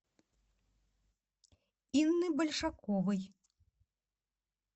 инны большаковой